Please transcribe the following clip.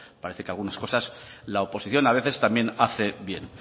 parece que algunas cosas la oposición a veces también hace bien